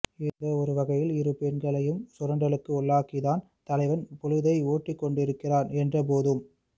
ஏதோ ஒரு வகையில் இரு பெண்களையும் சுரண்டலுக்கு உள்ளாக்கித்தான் தலைவன் பொழுதை ஓட்டிக் கொண்டிருக்கிறான் என்றபோதும்